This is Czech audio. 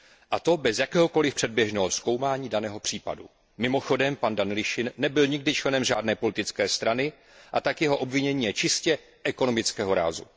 A to bez jakéhokoliv předběžného zkoumání daného případu. Mimochodem pan Danilišin nebyl nikdy členem žádné politické strany, a tak jeho obvinění je čistě ekonomického rázu.